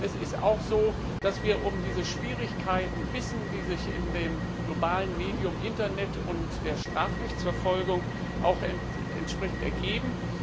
Es ist auch so, dass wir um die Schwierigkeiten wissen, die sich mit dem globalen Medium Internet und der Strafrechtsverfolgung ergeben.